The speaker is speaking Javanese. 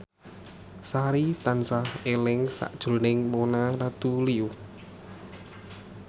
Sari tansah eling sakjroning Mona Ratuliu